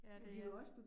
Ja det er